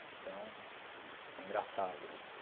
Então, é engraçado isso.